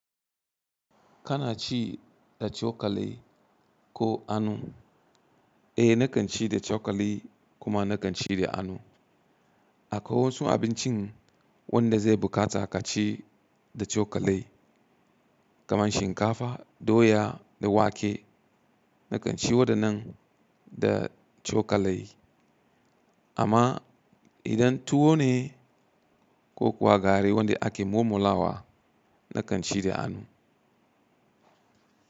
Kana ci, da cokali ko anu? Eh, na kan ci da cokali, kuma na kan ci da anu. Akwai wasu abincin wanda zai bukata ka ci da cokali, kaman shinkafa, doya da wake. Na kan ci wadannan, da cokali. Amma idan tuwo ne, ko kuwa gari wanda ake mumulawa, na kan ci da anu.